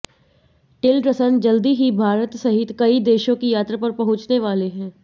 Tillerson जल्दी ही भारत सहित कई देशों की यात्रा पर पहुंचने वाले हैं